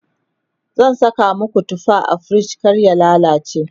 zan Saka maku tufa a frij kar ya lallace